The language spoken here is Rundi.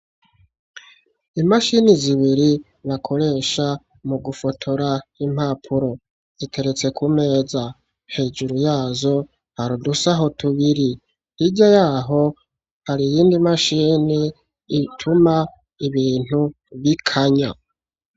Imashini zibiri, bakoresha mu gufotora impapuro, ziteretse ku meza, hejuru yazo, hari udusaho tubiri; hirya y'aho, hari iyindi mashini, ituma ibintu bikanya.